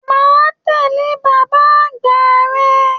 Má a tẹle bàbá àgbà rẹ.